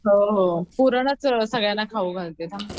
पुरणच सगळ्यांना घालते थांब.